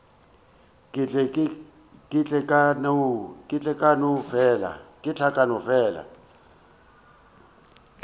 ke ile ka no fela